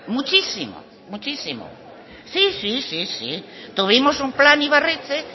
muchísimo muchísimo sí sí tuvimos un plan ibarretxe